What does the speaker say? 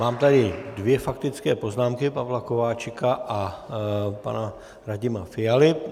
Mám tady dvě faktické poznámky - Pavla Kováčika a pana Radima Fialy.